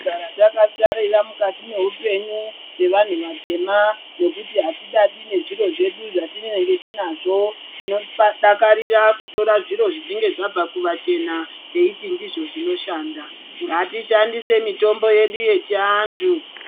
Kana takasarira mukati mehupenyu sevanhu vatema nekuti atidadi nezviro zvedu zvatinenge tinazvo tinodakarira kutora zviro zvinenge zvabva kuvachena teiti ndizvo zvinoshanda. Ngatishandise mitombo yedu yechi antu.